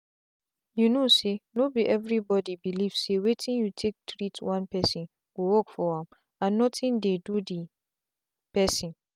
you know sayno be everybody belief say wetin you take treat one person go work for am and nothing dey do the person.